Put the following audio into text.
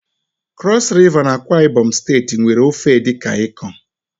Cross River na AkwaIbom steeti nwe ofe Edikan Ikong